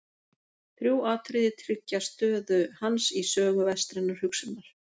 Þrjú atriði tryggja stöðu hans í sögu vestrænnar hugsunar.